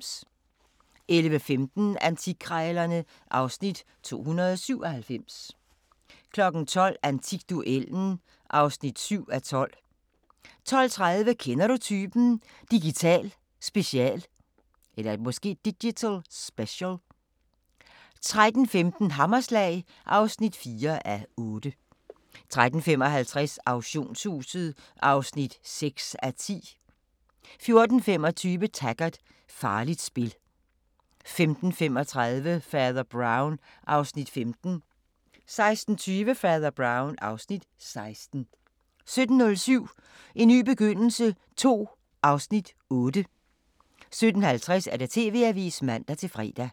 11:15: Antikkrejlerne (Afs. 297) 12:00: Antikduellen (7:12) 12:30: Kender du typen? – Digital special 13:15: Hammerslag (4:8) 13:55: Auktionshuset (6:10) 14:25: Taggart: Farligt spil 15:35: Fader Brown (Afs. 15) 16:20: Fader Brown (Afs. 16) 17:05: En ny begyndelse II (Afs. 8) 17:50: TV-avisen (man-fre)